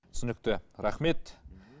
түсінікті рахмет